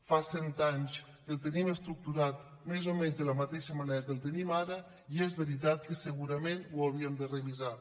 fa cent anys que el tenim estructurat més o menys de la mateixa manera que el tenim ara i és veritat que segurament l’hauríem de revisar